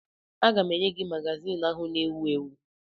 Aga m enye gị magazin ahụ na-ewu ewu